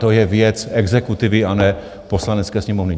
To je věc exekutivy a ne Poslanecké sněmovny.